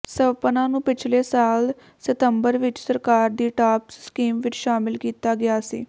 ਸਵਪਨਾ ਨੂੰ ਪਿਛਲੇ ਸਾਲ ਸਿਤੰਬਰ ਵਿਚ ਸਰਕਾਰ ਦੀ ਟਾਪਸ ਸਕੀਮ ਵਿਚ ਸ਼ਾਮਿਲ ਕੀਤਾ ਗਿਆ ਸੀ